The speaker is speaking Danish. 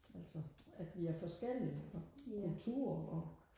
altså at vi er forskellige og kulturer og